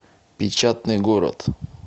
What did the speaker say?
печатный город